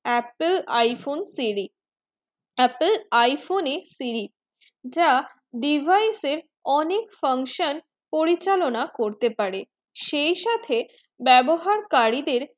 apple iphone three apple iphone এর three যা device এর অনেক function পরিচালনা করতে পারে সেইসাথে বেবহার করিতে